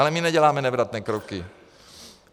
Ale my neděláme nevratné kroky.